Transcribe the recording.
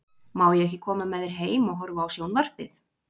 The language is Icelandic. Má ég ekki koma með þér heim og horfa á sjón- varpið?